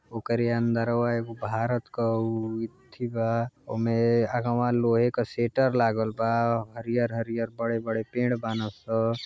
वोकरे अंडरवा एगो भारत के ऊ येथी बा। ओमे आगवा लोहे का शटर लागल बा। हरिहर हरिहर बड़े-बड़े पेड़ बानसन।